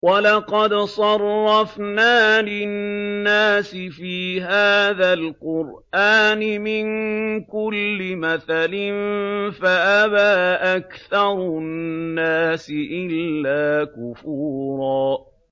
وَلَقَدْ صَرَّفْنَا لِلنَّاسِ فِي هَٰذَا الْقُرْآنِ مِن كُلِّ مَثَلٍ فَأَبَىٰ أَكْثَرُ النَّاسِ إِلَّا كُفُورًا